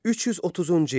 330-cu il.